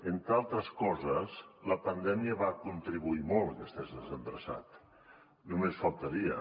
entre altres coses la pandèmia va contribuir molt a que estigués desendreçat només faltaria